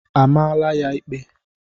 A maala ya ikpe?